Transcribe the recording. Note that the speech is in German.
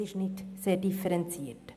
Dies ist nicht sehr differenziert.